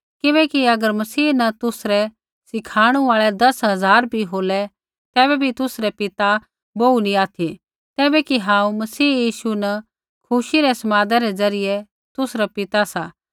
किबैकि अगर मसीह न तुसरै सीखाणु आल़ै दस हज़ार भी होलै तैबै भी तुसरै पिता बोहू नैंई ऑथि तैबै कि हांऊँ मसीह यीशु न खुशी रै समादा रै ज़रियै तुसरा पिता सा